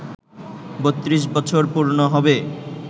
৩২ বছর পূর্ণ হবে